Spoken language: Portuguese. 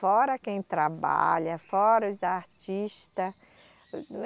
Fora quem trabalha, fora os artista.